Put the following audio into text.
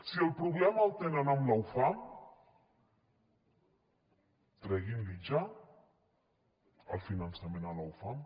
si el problema el tenen amb la ufam treguin li ja el finançament a la ufam